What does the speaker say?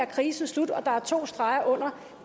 krisen slut og at der var to streger